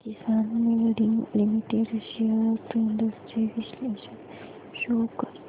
किसान moulding limited shares trends चे विश्लेषण show कर